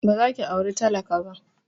Ba za ki aura talaka ba!